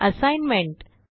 assignment